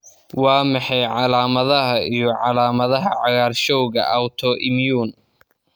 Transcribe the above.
Waa maxay calaamadaha iyo calaamadaha cagaarshowga Autoimmune?